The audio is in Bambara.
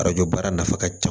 Arajo baara nafa ka ca